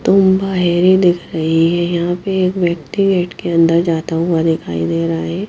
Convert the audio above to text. तुम बाहेरी दिख रही है यहां पे एक व्यक्ति गेट के अन्दर जाता हुआ दिखाई दे रहा है।